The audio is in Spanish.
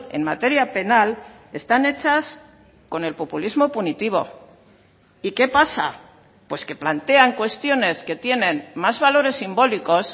en materia penal están hechas con el populismo punitivo y qué pasa pues que plantean cuestiones que tienen más valores simbólicos